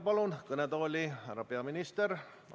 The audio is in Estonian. Palun kõnetooli, härra peaminister!